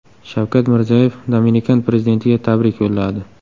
Shavkat Mirziyoyev Dominikan prezidentiga tabrik yo‘lladi.